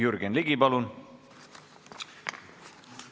Jürgen Ligi, palun!